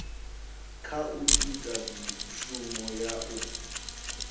kha u ita mishumo yao